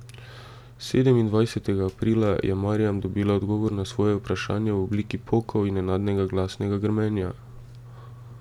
Sedemindvajsetega aprila je Marjam dobila odgovor na svoje vprašanje v obliki pokov in nenadnega glasnega grmenja.